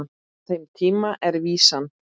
Frá þeim tíma er vísan